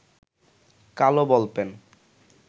কালো বলপেন